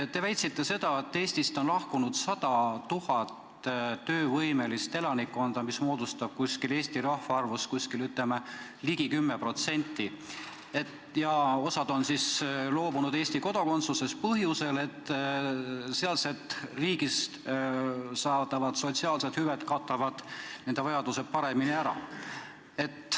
Te väitsite, et Eestist on lahkunud 100 000 töövõimelist elanikku, mis moodustab Eesti rahvaarvust ligi 10%, ja osa on siis loobunud Eesti kodakondsusest põhjusel, et sealsest riigist saadavad sotsiaalsed hüved katavad nende vajaduse paremini ära.